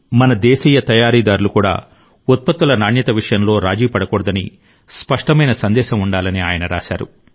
మన దేశీయ తయారీదారులు కూడా ఉత్పత్తుల నాణ్యత విషయంలో రాజీ పడకూడదని స్పష్టమైన సందేశం ఉండాలని ఆయన రాశారు